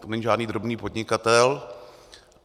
To není žádný drobný podnikatel.